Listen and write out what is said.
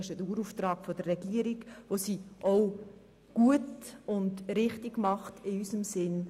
Sie hat diesen Dauerauftrag und erfüllt ihn gut und richtig in unserem Sinn.